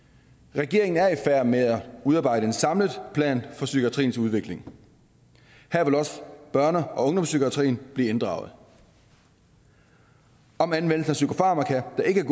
regeringen er i færd med at udarbejde en samlet plan for psykiatriens udvikling her vil også børne og ungdomspsykiatrien blive inddraget om anvendelsen af psykofarmaka der ikke er